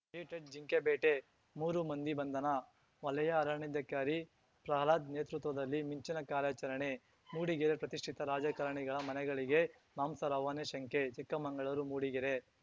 edited ಜಿಂಕೆ ಬೇಟೆ ಮೂರು ಮಂದಿ ಬಂಧನ ವಲಯ ಅರಣ್ಯಾಧಿಕಾರಿ ಪ್ರಹ್ಲಾದ್‌ ನೇತೃತ್ವದಲ್ಲಿ ಮಿಂಚಿನ ಕಾರ್ಯಾಚರಣೆ ಮೂಡಿಗೆರೆ ಪ್ರತಿಷ್ಠಿತ ರಾಜಕಾರಣಿಗಳ ಮನೆಗಳಿಗೆ ಮಾಂಸ ರವಾನೆ ಶಂಕೆ ಚಿಕ್ಕಮಂಗಳೂರು ಮೂಡಿಗೆರೆ